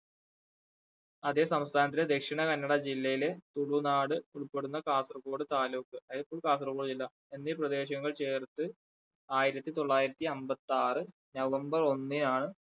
അതെ സംസ്ഥാനത്തിലെ ദക്ഷിണ കന്നഡ ജില്ലയിലെ തുളുനാട് ഉൾപ്പെടുന്ന കാസർഗോഡ് താലൂക്ക് കാസർഗോഡ് ജില്ല എന്നീ പ്രദേശങ്ങൾ ചേർത്ത് ആയിരത്തി തൊള്ളായിരത്തി അമ്പത്താറ് november ഒന്നിനാണ്